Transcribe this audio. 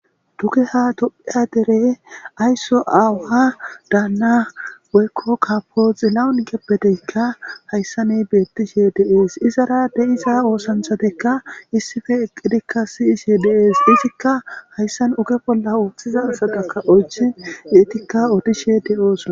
duke ha do7iya dere aysso aawuha daanna weykko kapoxi lawunkeppeteykka hayssane beettishe deees izara de7iza oosanthatekka issife eqqidikka siyishe deees izikka hayssan uge bolla ooththiza asataka oychi geetikka otishe de7oosona